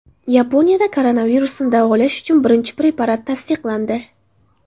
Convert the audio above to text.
Yaponiyada koronavirusni davolash uchun birinchi preparat tasdiqlandi.